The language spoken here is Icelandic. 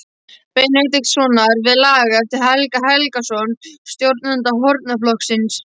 Benediktssonar við lag eftir Helga Helgason, stjórnanda hornaflokksins.